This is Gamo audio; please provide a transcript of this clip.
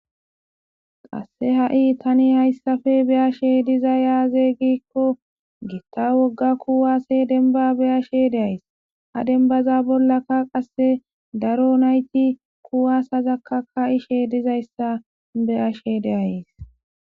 qasse ha'i tani hayssafe beyashe dizaya aze giikko gitta wogga kuwase denba beyashe de'ays a denbaza bollaka qasse daro nayti kuwasezakka ka'ishe dizayssa beyashe de'ays